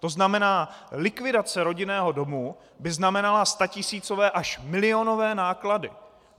To znamená, likvidace rodinného domu by znamenala statisícové až milionové náklady.